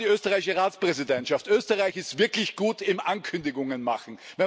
An die österreichische Ratspräsidentschaft Österreich ist wirklich gut im Ankündigungen Machen.